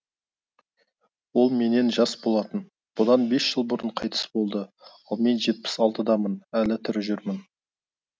ол менен жас болатын бұдан бес жыл бұрын қайтыс болды ал мен жетпіс алтыдамын әлі тірі жүрмін